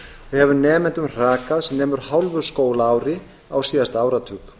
hefur nemendum hrakað sem nemur hálfu skólaári á síðasta áratug